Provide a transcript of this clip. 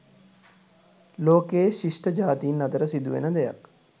ලෝකයේ ශිෂ්ඨ ජාතින් අතර සිදුවන දෙයක්